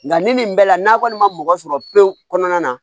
Nka ni nin bɛɛ la n'a kɔni ma mɔgɔ sɔrɔ pewu kɔnɔna na